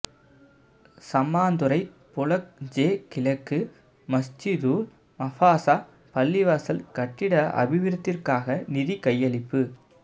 Sammanthurai block J கிழக்கு மஸ்ஜிதுல் மபாஸா பள்ளிவாசல் கட்டிட அபிவிருத்திற்காக நிதி கையளிப்பு